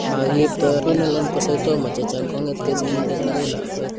Makiipto Renal Oncocytoma chechang' kong'etke sigindet akoi lakwet.